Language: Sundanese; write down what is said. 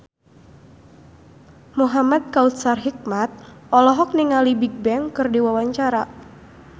Muhamad Kautsar Hikmat olohok ningali Bigbang keur diwawancara